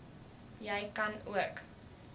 jy kan ook